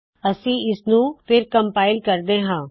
ਮੈ ਇਸਨੂ ਫੇਰ ਕਮਪਾਇਲ ਕਰਦੀ ਹਾ